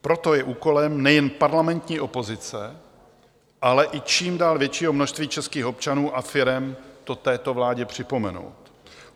Proto je úkolem nejen parlamentní opozice, ale i čím dál většího množství českých občanů a firem to této vládě připomenout.